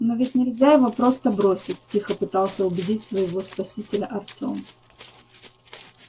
но ведь нельзя его просто бросить тихо пытался убедить своего спасителя артем